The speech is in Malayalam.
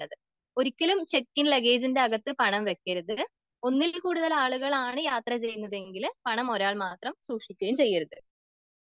ഒരിക്കലും ചെക്കിങ് ലെഗേജിന്റെ അകത്ത് പണം വെക്കരുത്.ഒന്നിൽ കൂടുതൽ ആളുകളാണ് യാത്ര ചെയ്യുന്നതെങ്കില് പണം ഒരാൾ മാത്രം സൂക്ഷിക്കയും ചെയ്യരുത്.